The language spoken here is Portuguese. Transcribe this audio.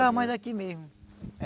mais aqui mesmo.